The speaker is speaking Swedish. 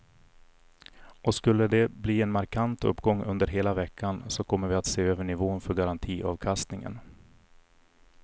Och skulle de bli en markant uppgång under hela veckan så kommer vi att se över nivån för garantiavkastningen.